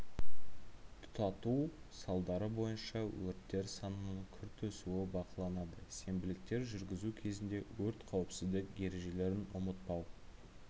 тұтату салдары бойынша өрттер санының күрт өсуі бақыланады сенбіліктер жүргізу кезінде өрт қауіпсіздік ережелерін ұмытпау